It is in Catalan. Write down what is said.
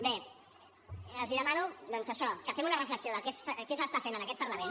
bé els demano doncs això que fem una reflexió de què s’està en aquest parlament